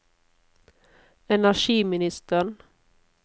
energiministeren